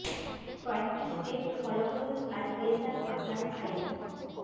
কয়েকটি step follow করুন আর পেয়ে যান আপনার ফাইল